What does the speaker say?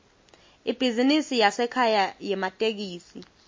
ibhizinisi yasekhaya yematekisi